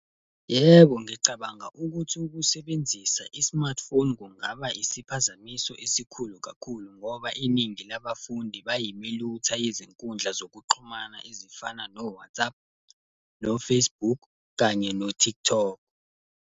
Yebo ngicabanga ukuthi ukusebenzisa i-smartphone kungaba isiphazamiso esikhulu kakhulu, ngoba iningi laba fundi bayimilutha yezinkundla zokuxhumana ezifana no-WhatsApp, no-Facebook, kanye no-TikTok.